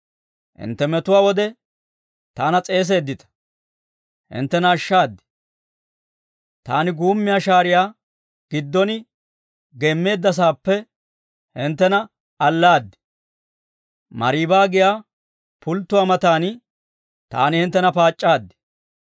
Hintte metuwaa wode taana s'eeseeddita; hinttena ashshaad; taani guumiyaa shaariyaa giddon geemmeeddasaappe hinttena allaad. Mariiba giyaa pulttuwaa matan taani hinttena paac'c'aad.